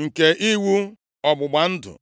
nke iwu ọgbụgba ndụ?”